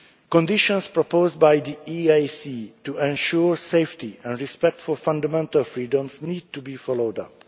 militias. Conditions proposed by the EAC to ensure safety and respect for fundamental freedoms need to be followed